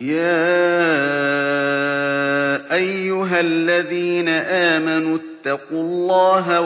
يَا أَيُّهَا الَّذِينَ آمَنُوا اتَّقُوا اللَّهَ